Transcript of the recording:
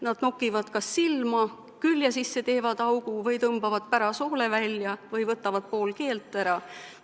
Nad nokivad kas silma, teevad külje sisse augu, tõmbavad pärasoole välja või võtavad pool keelt ära.